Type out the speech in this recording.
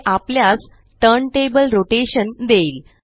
हे आपल्यास turntable rotation देईल